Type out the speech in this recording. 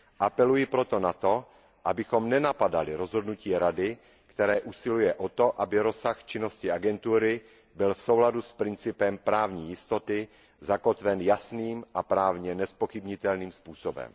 Apeluji proto na to, abychom nenapadali rozhodnutí Rady, které usiluje o to, aby rozsah činnosti agentury byl v souladu s principem právní jistoty zakotven jasným a právně nezpochybnitelným způsobem.